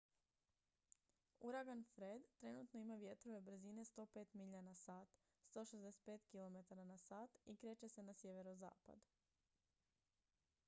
uragan fred trenutno ima vjetrove brzine 105 milja na sat 165 km/h i kreće se na sjeverozapad